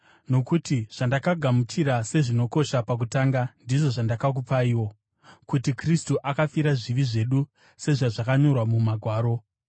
Nokuti zvandakagamuchira sezvinokosha pakutanga ndizvo zvandakakupaiwo: kuti Kristu akafira zvivi zvedu sezvazvakanyorwa muMagwaro,